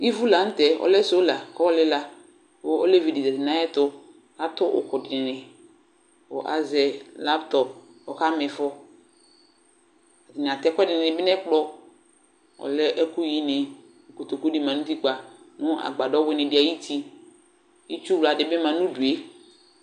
Ivu la nʋ tɛ, ɔlɛ sola kʋ ayɔ lɩla kʋ olevi dɩ zati nʋ yɛtʋ Atʋ ʋkʋ dɩnɩ kʋ azɛ laptɔp kʋ ɔkama ɩfɔ Atanɩ atɛ ɛkʋɛdɩnɩ bɩ nʋ ɛkplɔ Ɔlɛ ɛkʋyinɩ kʋ kotoku dɩ ma nʋ utikpǝ nʋ agbadɔ wɩnɩ dɩ ayuti Itsuwla dɩ bɩ ma nʋ udu yɛ